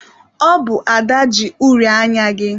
Ọ bụ Ada ji uri anya gị.